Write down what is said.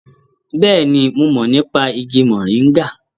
Bẹ́ẹ̀ni, mo mọ̀ nípa igi mọ̀ríngà